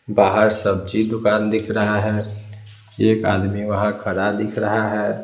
बाहर सब्जी दुकान दिख रहा है एक आदमी वहाँ खड़ा दिख रहा है।